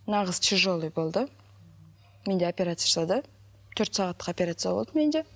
мына қыз тяжелый болды менде оперция жасады төрт сағаттық операция болды менде